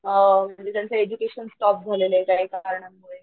अ म्हणजे त्यांचं education stop झालेलय काही कारणांनी.